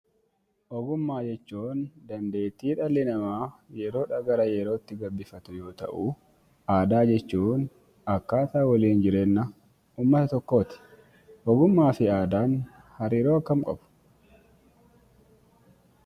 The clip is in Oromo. Ogummaa jechuun dandeettii dhalli namaa yeroo gara yerootti gabbifatu yoo ta'u, aadaa jechuun akkaataa waliin jireenya uummata tokkooti. Ogummaa fi aadaan hariiroo akkamii qabu?